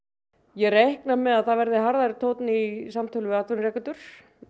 ég reikna með að það verði harðari tónn í samtölum við atvinnurekendur